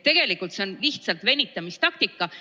Tegelikult see on lihtsalt venitamistaktika.